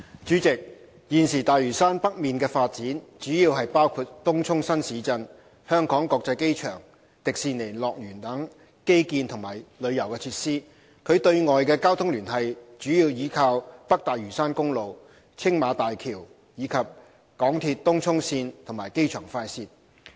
主席，現時大嶼山北面的發展主要包括東涌新市鎮、香港國際機場、迪士尼樂園等基建及旅遊設施，其對外的交通聯繫主要依靠北大嶼山公路、青馬大橋，以及港鐵東涌線和機場快線。